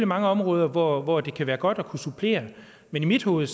mange områder hvor hvor det kan være godt at kunne supplere men i mit hoved